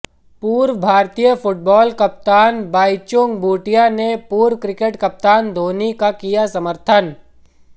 पूर्व भारतीय फुटबाल कप्तान बाईचुंग भूटिया ने पूर्व क्रिकेट कप्तान धोनी का किया समर्थन